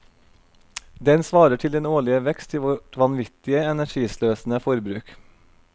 Den svarer til den årlige vekst i vårt vanvittig energisløsende forbruk.